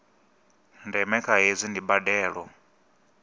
ndeme kha hezwi ndi mbandelo